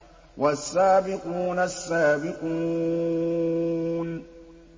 وَالسَّابِقُونَ السَّابِقُونَ